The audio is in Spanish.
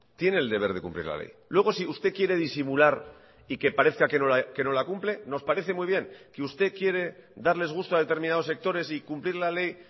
tiene el deber de cumplir la ley luego si usted quiere disimular y que parezca que no la cumple nos parece muy bien que usted quiere darles gusto a determinados sectores y cumplir la ley